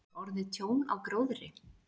Hefur orðið tjón á gróðri?